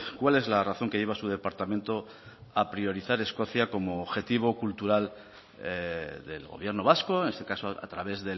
cuál es la razón que lleva a su departamento a priorizar escocia como objetivo cultural del gobierno vasco en este caso a través